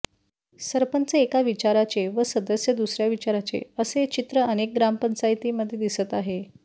सरपंच एका विचाराचे व सदस्य दुसऱ्या विचाराचे असे चित्र अनेक ग्रामपंचायतींमध्ये दिसत आहे